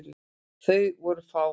Þau voru fá.